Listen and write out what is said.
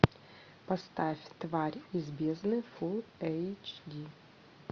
поставь тварь из бездны фул эйч ди